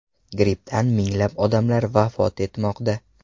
Grippdan minglab odamlar vafot etmoqda.